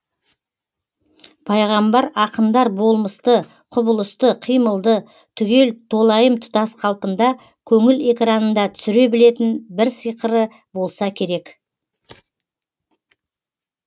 пайғамбар ақындар болмысты құбылысты қимылды түгел толайым тұтас қалпында көңіл экранында түсіре білетін бір сиқыры болса керек